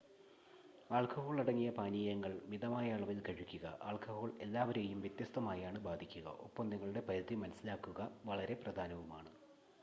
ആൽക്കഹോളടങ്ങിയ പാനീയങ്ങൾ മിതമായ അളവിൽ കഴിക്കുക ആൽക്കഹോൾ എല്ലാവരെയും വ്യത്യസ്തമായാണ് ബാധിക്കുക ഒപ്പം നിങ്ങളുടെ പരിധി മനസ്സിലാക്കുക വളരെ പ്രധാനവുമാണ്